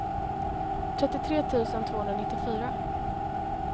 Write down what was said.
trettiotre tusen tvåhundranittiofyra